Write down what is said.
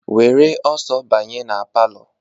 Were ọsọ banye na palọ!